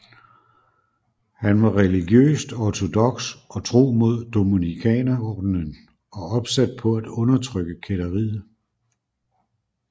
Han var religiøst ortodoks og tro mod Dominikanerordenen og opsat på at undertrykke kætteriet